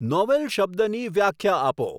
novel શબ્દની વ્યાખ્યા આપો